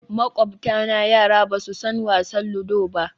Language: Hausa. Makwabtana yara ba su san wasan ludo ba